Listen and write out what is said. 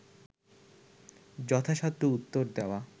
যথাসাধ্য উত্তর দেওয়া